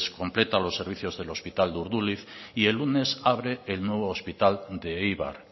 completa los servicios del hospital de urduliz y el lunes abre el nuevo hospital de eibar